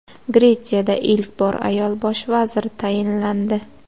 Gretsiyada ilk bor ayol bosh vazir tayinlandi.